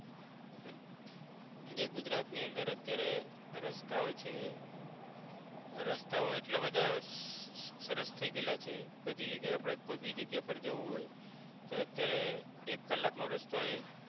જે ગુજરાત ની અંદર અત્યારે રસ્તાઓ છે રસ્તાઓ એટલા બધા સરસ થઈ ગઇલા છે બધી જગીયા એ આપણે કોઈ ભી જગીયા પર જવું હોય તો અત્યારે એક કલાક નો રસ્તો હોય